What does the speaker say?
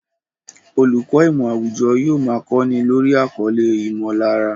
Olùkọ́ ìmọ̀ àwùjọ yóò máa kọ́ni lórí àkọlé "ìmọ̀lára"